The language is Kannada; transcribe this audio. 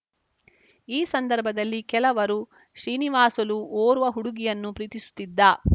ಈ ಸಂದರ್ಭದಲ್ಲಿ ಕೆಲವರು ಶ್ರೀನಿವಾಸುಲು ಓರ್ವ ಹುಡುಗಿಯನ್ನು ಪ್ರೀತಿಸುತ್ತಿದ್ದ